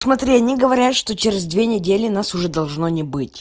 смотри они говорят что через две недели нас уже должно не быть